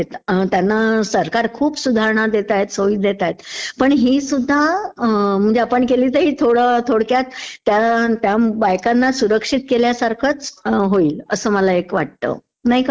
त्यांना सरकार खूप सुधारणा देतायतं सोयी देतायतं. पण ही सुध्दा आपण केली तर ही थोडं...थोडक्यात त्या बायकांना सुरक्षित केल्यासारखंच होईल असं मला एक वाटतं, नाही का?